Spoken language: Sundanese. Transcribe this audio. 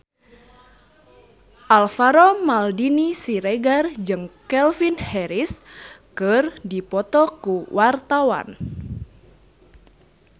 Alvaro Maldini Siregar jeung Calvin Harris keur dipoto ku wartawan